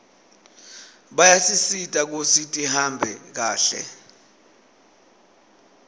bayasisita kutsi tihambe kahle